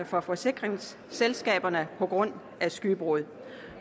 fra forsikringsselskaberne på grund af skybrud